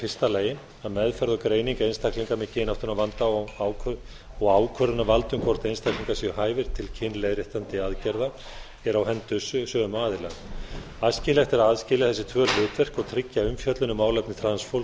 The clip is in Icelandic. fyrsta lagi að meðferð og greining einstaklinga með kynáttunarvanda og ákvörðunarvald um hvort einstaklingar séu hæfir til kynréttandi aðgerða er á höndum sömu aðila æskilegt er að aðskilja þessi tvö hlutverk og tryggja umfjöllun um málefni transfólks á